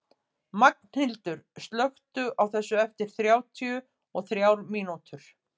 Magnhildur, slökktu á þessu eftir þrjátíu og þrjár mínútur.